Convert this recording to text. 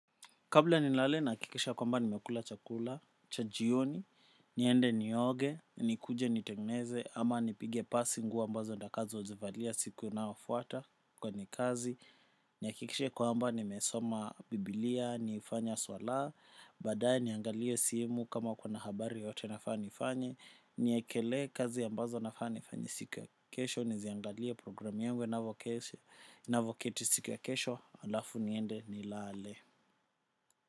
Kabla ni lale na kikisha kwa mba ni mekula chakula, chajioni, niende ni oge, ni kuje ni tengeneze, ama nipige passi nguo mbazo nitakazo zivalia siku inayo fuata kwenye kazi. Ni akikisha kwa mba ni mesoma biblia, niifanya swala, badae niangalie simu kama kuna habari yote nafani ifanye, niyekele kazi ambazo nafani ifanye siku ya kesho, niziangalie programi yangu ina voketi siku ya kesho, alafu niende ni lale.